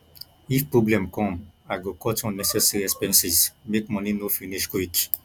if problem come i go cut unnecessary expenses make money no finish quick